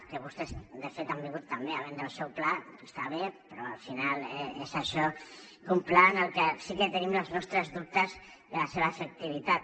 que vostès de fet han vingut també a vendre el seu pla està bé però al final és això un pla del que sí que tenim els nostres dubtes de la seva efectivitat